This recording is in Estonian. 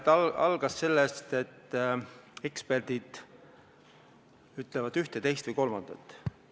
Ta alustas sellest, et eksperdid ütlevad ühte, teist või kolmandat.